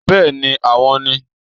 Bẹ́ẹ̀ni àwọn ni